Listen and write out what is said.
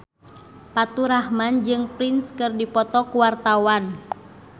Faturrahman jeung Prince keur dipoto ku wartawan